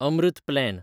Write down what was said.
Amrit plan